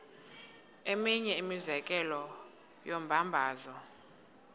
eminye imizekelo yombabazo